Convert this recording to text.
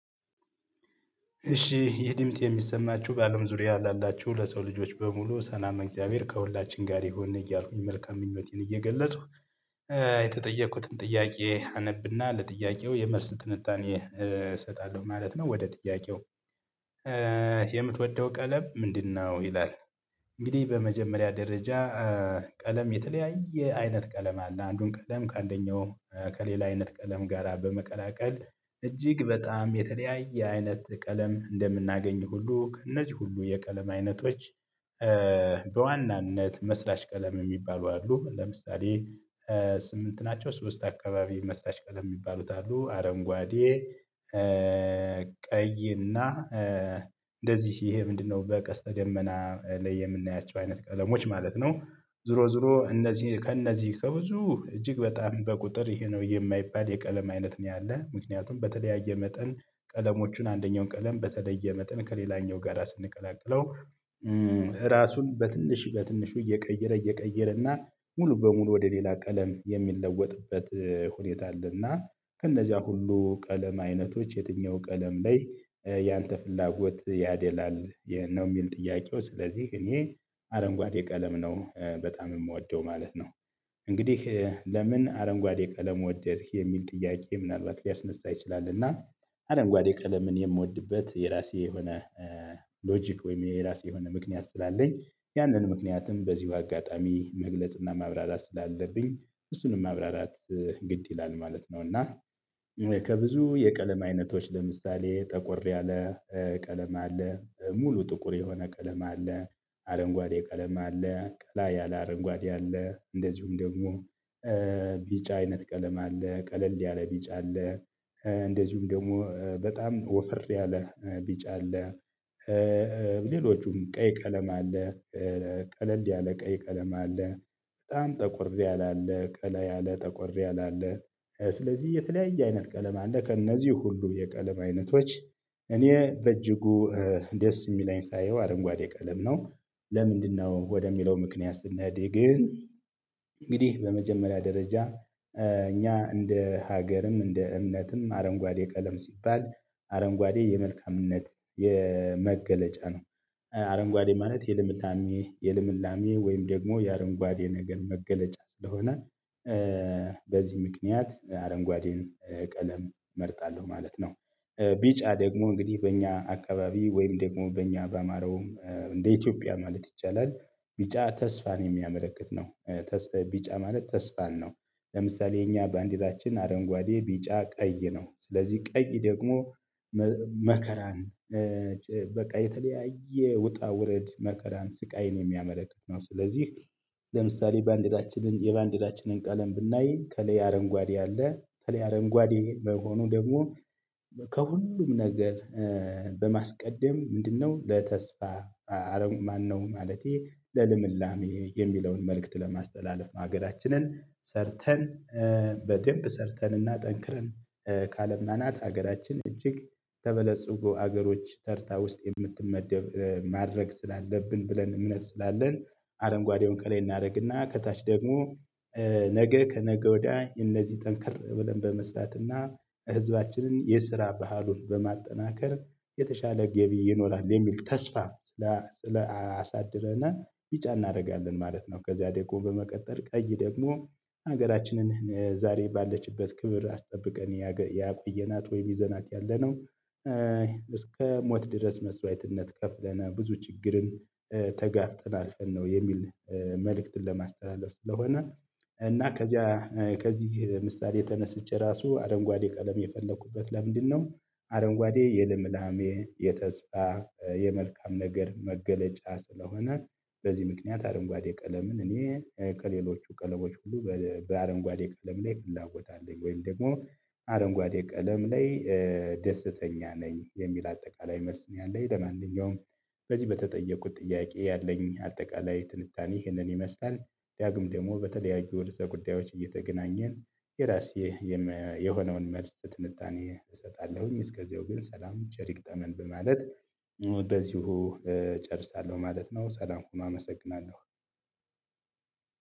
እሺ ይህ ድምጽ የሚሰማችሁ በአለም ዙሪያ ላላችሁ ለሰው ልጆች በሙሉ ሰላም እግዚአብሔር ከሁላችን ጋር ይሁን እያልኩኝ መልካም ምኞቴን እየገለፅኩ- የተጠየኩትን ጥያቄ አነብና ለጥያቄው የመልስ ትንታኔ እሰጣለሁ ማለት ነው። ወደ ጥያቄው- የምትወደው ቀለም ምንድ ነው? ይላል። እንግዲህ በመጀመሪያ ደረጃ- ቀለም የተለያየ አይነት ቀለም አለ። አንዱን ቀለም ከአንደኛው ከሌላ አይነት ቀለም ጋራ በመቀላቀል እጅግ በጣም የተለያየ አይነት ቀለም እንደምናገኝ ሁሉ እነዚህ ሁሉ የቀለም አይነቶች- በዋናነት መስራች ቀለም የሚባሉ አሉ። ለምሳሌ:- ስምንት ናቸው። ሶስት አካባቢ መስራች ቀለም የሚባሉት አሉ። አረንጓዴ: ቀይ እና እንደዚህ ይሄ ምንድነው በቀስተ ደመና ላይ የምናያቸው አይነት ቀለሞች ማለት ነው። ዝሮ ዝሮ እነዚህ ከእነዚህ ከብዙ እጅግ በጣም በቁጥር ይሄ ነው የማይባል የቀለም አይነት ነው ያለው ምክንያቱም በተለያየ መጠን ቀለሞችን አንደኛውን ቀለም በተለየ መጠን ከሌላኛው ጋር ስንቀላቀለው: ራሱን በትንሽ በትንሹ እየቀየረ እየቀየረ እና ሙሉ በሙሉ ወደ ሌላ ቀለም የሚለወጥበት ሁኔታ አለ። እና ከነዚያ ሁሉ ቀለም አይነቶች የትኛው ቀለም ላይ ያንተ ፍላጎት ያደላል? ነው የሚል ጥያቄው። ስለዚህ እኔ- አረንጓዴ ቀለም ነው በጣም የምወደው ማለት ነው። እንግዲህ ለምን አረንጓዴ ቀለም ወደድክ? የሚል ጥያቄ ምናልባት ሊያስነሳ ይችላል እና አረንጓዴ ቀለምን የምወድበት የራሴ የሆነ- ሎጂክ ወይም የራሴ የሆነ ምክንያት ስላለኝ ያንን ምክንያትም በዚሁ አጋጣሚ መግለጽና ማብራራት ስላለብኝ እሱንም ማብራራት ግድ ይላል ማለት ነው። እና- ከብዙ የቀለም አይነቶች ለምሳሌ:- ጠቆር ያለ ቀለም አለ :ሙሉ ጥቁር የሆነ ቀለም አለ: አረንጓዴ ቀለም አለ: ቀላ ያለ አረንጓዴ አለ: እንደዚሁም ደግሞ- ቢጫ አይነት ቀለም አለ :ቀለል ያለ ቢጫ አለ: እንደዚሁም ደግሞ በጣም ወፈር ያለ ቢጭ አለ። ሌሎቹም ቀይ ቀለም አለ: ቀለል ያለ ቀይ ቀለም አለ: በጣም ጠቆር ያለ አለ: ቀለ ያለ ጠቆር ያለ አለ- ስለዚህ የተለያየ አይነት ቀለም አለ። ከእነዚህ ሁሉ የቀለም አይነቶች እኔ በእጅጉ ደስ የሚለኝ ሳየው አረንጓዴ ቀለም ነው። ለምንድነው ወደሚለው ምክንያት ስንሄድ ግን- እንግዲህ በመጀመሪያ ደረጃ እኛ እንደ ሀገርም እንደ እምነትም አረንጓዴ ቀለም ሲባል- አረንጓዴ የመልካምነት የመገለጫ ነው። አረንጓዴ ማለት የልምላሜ የልምላሜ ወይም ደግሞ የአረንጓዴ ነገር መገለጫ ስለሆነ- በዚህ ምክንያት አረንጓዴን ቀለም እመርጣለሁ ማለት ነው። ቢጫ ደግሞ እንግዲህ በእኛ አካባቢ ወይም ደግሞ በእኛ ባማረውም እንደ ኢትዮጵያ ማለት ይቻላል ቢጫ ተስፋን የሚያመለክት ነው። ቢጫ ማለት ተስፋን ነው ለምሳሌ እኛ ባንዲራችን አረንጓዴ ቢጫ ቀይ ነው። ስለዚህ ቀይ ደግሞ- መከራን በቃ የተለያየ ውጣ ውረድ መከራን ስቃይን የሚያመለክት ነው። ስለዚህ ለምሳሌ በአንደታችን የባንዲዳችንን ቀለም ብናይ ከሌ አረንጓዴ አለ። ከሌ አረንጓዴ በመሆኑ ደግሞ- ከሁሉም ነገር በማስቀደም ምንድነው ለተስፋ- ማነው ማለቴ ለልምላሜ የሚለውን መልእክት ለማስተላለፍ ማገዳችንን ሰርተን- በደንብ ሰርተንና ጠንክረን ከአለማናት ሀገራችን እጅግ ተበለጽጉ ሀገሮች ተርታ ውስጥ የምትመደብ ማድረግ ስላለብን ብለን እምነት ስላለን አረንጓዴውን ከላይ እናደርግና ከታች ደግሞ- ነገ ከነገ ወዲያ እነዚህ ጠንከር ብለን በመስራትና ህዝባችንን የስራ ባህሉን በማጠናከር የተሻለ ገቢ ይኖራል የሚል ተስፋ ለአሳድረናል ቢጫ እናደርጋለን ማለት ነው። ከዛ ደግሞ በመቀጠል ቀይ ደግሞ- ሀገራችንን ዛሬ ባለችበት ክብር አስጠብቀን ያቆየናት ወይም ይዘናት ያለነው እስከ ሞት ድረስ መስዋዕትነት ከፍለን ብዙ ችግርን- ተጋፍጠናል ነው የሚል መልእክትን ለማስተላለፍ ስለሆነ- እና ከዚያ ከዚህ ምሳሌ ተነስቼ ራሱ አረንጓዴ ቀለም የፈለኩበት ለምንድን ነው- አረንጓዴ የልምላሜ: የተስፋ: የመልካም ነገር መገለጫ ስለሆነ በዚህ ምክንያት አረንጓዴ ቀለምን እኔ ከሌሎቹ ቀለሞች ሁሉ በአረንጓዴ ቀለም ላይ ፍላጎት አለኝ። ወይም ደግሞ- አረንጓዴ ቀለም ላይ ደስተኛ ነኝ የሚል አጠቃላይ መልስ ነው ያለኝ። ለማንኛውም- በዚህ በተጠየቁት ጥያቄ ያለኝ አጠቃላይ ትንታኔ ይህንን ይመስላል። ዳግም ደግሞ በተለያዩ ወደ ርዕሰ ጉዳዮች እየተገናኘን የራሴ- የሆነውን መልስ ትንታኔ እሰጣለሁኝ። እስከዚያው ግን ሰላም ቸር ይግጠመን በማለት- በዚሁ እጨርሳለሁ ማለት ነው ሰላም ሁኑ አመሰግናለሁ።